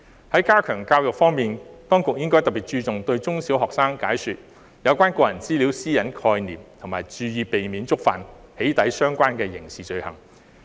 在加強教育方面，當局應該特別注重對中小學生解說有關個人資料私隱的概念，以及提醒他們注意避免觸犯與"起底"相關的刑事罪行。